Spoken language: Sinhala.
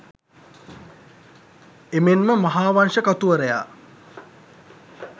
එමෙන්ම මහාවංශ කතුවරයා